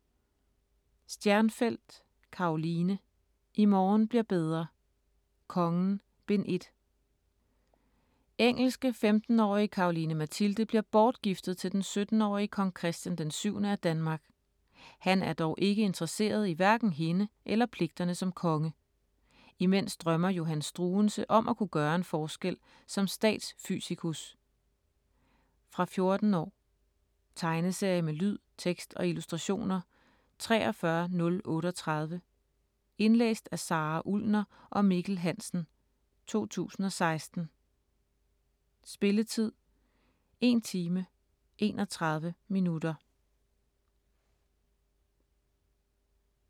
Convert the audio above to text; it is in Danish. Stjernfelt, Karoline: I morgen bliver bedre: Kongen: Bind 1 Engelske 15-årige Caroline Mathilde bliver bortgiftet til den 17-årige Kong Christian d. 7. af Danmark. Han er dog ikke interesseret i hverken hende eller pligterne som konge. Imens drømmer Johann Struensee om at kunne gøre en forskel som stadsfysikus. Fra 14 år. Tegneserie med lyd, tekst og illustrationer 43038 Indlæst af Sara Ullner og Mikkel Hansen, 2016. Spilletid: 1 time, 31 minutter.